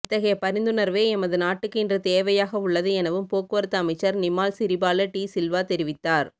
இத்தகைய பரிந்துணர்வே எமது நாட்டுக்கு இன்று தேவையாகவுள்ளது எனவும் போக்குவரத்து அமைச்சர் நிமால் சிறிபால டி சில்வா தெரிவித்தார்